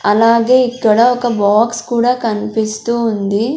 అలాగే ఇక్కడ ఒక బాక్స్ కూడా కన్పిస్తూ ఉంది.